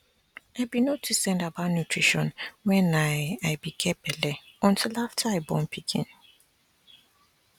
i be no too send about nutrition when i i be get belle until after i born pikin